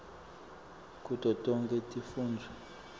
kuto tonkhe tifundvo